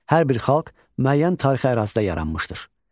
Hər bir xalq müəyyən tarixi ərazidə yaranmışdır.